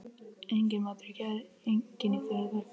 Enginn matur í gær, enginn í fyrradag.